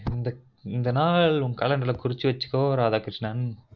இந்த நாள் calender ல குறிச்சு வச்சுகொ ராதாகிருஷ்ணன்